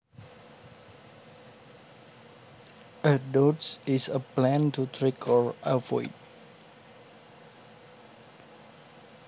A dodge is a plan to trick or avoid